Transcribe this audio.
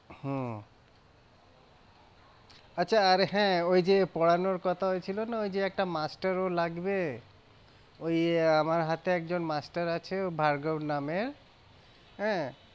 হম আচ্ছা, আর হ্যাঁ ওই যে পড়ানোর কথা হয়েছিল না ওই যে একটা master ও লাগবে ওই আমার হাতে একজন master আছে ভার্গব নামের আহ